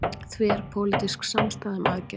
Þverpólitísk samstaða um aðgerðir